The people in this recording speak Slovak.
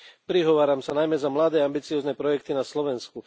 Prihováram sa najmä za mladé ambiciózne projekty na Slovensku.